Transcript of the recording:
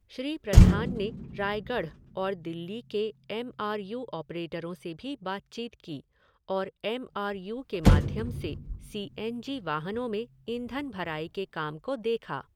श्री प्रधान ने रायगढ़ और दिल्ली के एम आर यू ऑपरेट़रों से भी बातचीत की और एम आर यू के माध्यम से सी एन जी वाहनों में ईंधन भराई के काम को देखा।